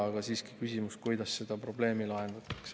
Aga siiski küsimus, kuidas seda probleemi lahendatakse.